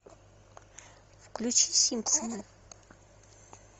включи симпсоны